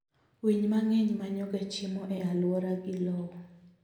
Winy mang'eny manyoga chiemo e aluora gi lowo.